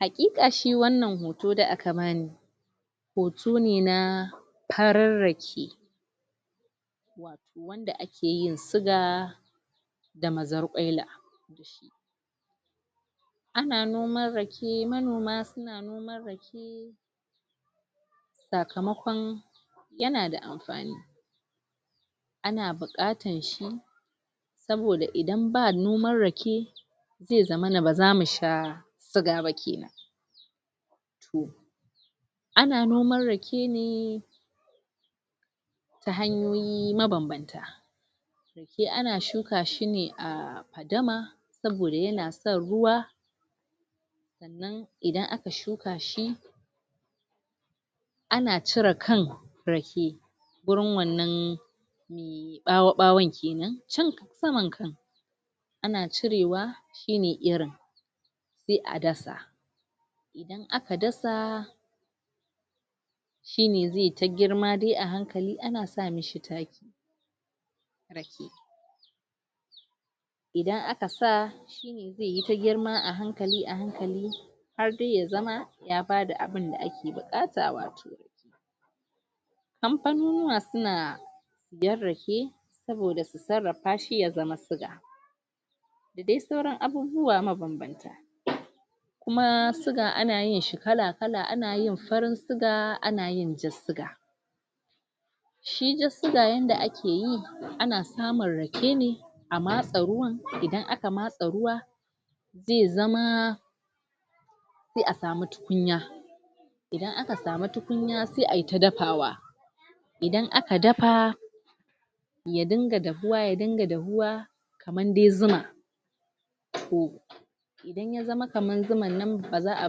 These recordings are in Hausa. haƙiƙa shi wannan hoto da aka bani hoto ne na farin rake da akeyin siga da mazar ƙwaila a na noman rake manoma sakamakon yana da amfani ana buƙatar shi saboda idan ba noman rake zai zamana ba za mu sha siga ba kenan a na noman rake ne ta hanyoyi mabanbanta? ana shuka shi ne a fadama saboda yana son ruwa idan a ka shuka shi a na cire kan rake gurin wannan ɓawo ɓawo kenan can sama a na cirewa shine irin sai a dasa in aka dasa shine zai ta girma a hankali a na sa mishi taki idan aka sa zai ta girma a hankali a hankali har dai ya zama ya bada abinda a ke buƙata wato kamfanunuwa suna siyen rake saboda sarrafa shi ya zama siga sai sauran abubuwa mabanbanta? kuma siga a na yin shi kala kala ana yin farin siga ana yin jan siga shi dai siga yadda ajke yi a na samun rake ne a matse ruwan idan aka matse ruwa zai zama sai a samu tukunya idan aka samu tukunya sai ai ta dafawa idan aka dafa ya din ga dahuwa ya din ga dahuwa kamar dai zuma ko in ya zama kamar zuman nan ba za a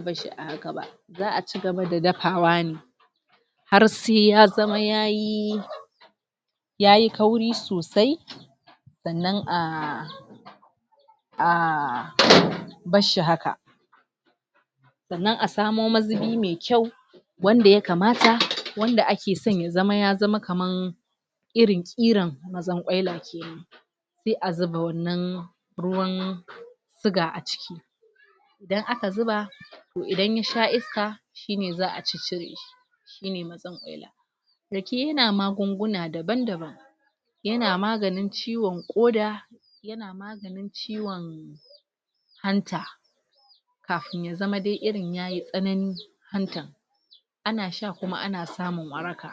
bar shi a haka ba za a cigaba da dafawa ne har sai ya zama yayi yayi kauri sosai sannan a a?? barshi haka sannan a samo mazubi mai kyau wanda yakamata wanda ake so ya zama ya zama kamar irin ƙiran mazar ƙwaila sai a zuba wannan ruwan siga a ciki idan a ka zuba to idan ya sha iska shine za a ciccire shine?? yana magunguna daban daban yana maganin ciwon ƙoda yana maganin ciwon hanta kafin ya zama irin yayi tsanani hanta a na sha kuma a na samun waraka?